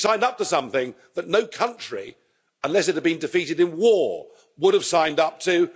She signed up to something that no country unless it had been defeated in war would have signed up to.